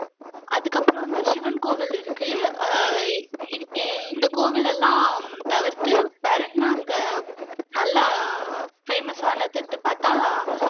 அதுக்கு அப்புறம் வந்து சிவன் கோவில் இருக்கு அஹ் இந்த கோவில் எல்லாம் தவிர்த்து வேற என்ன அங்க நல்லா ஃபேமஸ் ஆனதுன்னு பாத்தா